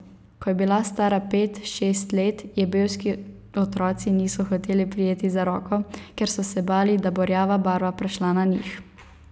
Ko je bila stara pet, šest let, je belski otroci niso hoteli prijeti za roko, ker so se bali, da bo rjava barva prešla na njih.